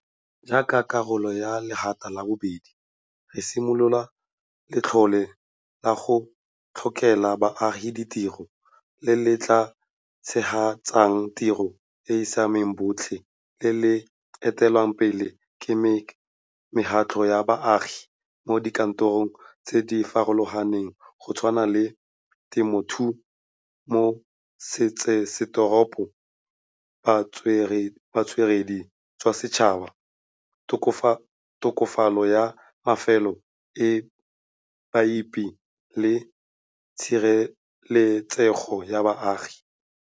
Jaaka karolo ya legato la bobedi, re simolola Letlole la go Tlholela Baagi Ditiro le le tla tshegetsang tiro e e siamelang botlhe le le etelelwang pele ke mekgatlho ya baagi mo dikarolong tse di farologaneng go tshwana le temothuo mo metsesetoropong, botsweretshi jwa setšhaba, tokafatso ya mafelo a baipei le tshireletsego ya baagi.